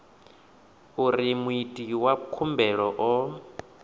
uri muiti wa khumbelo o